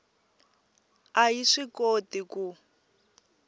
a yi swi koti ku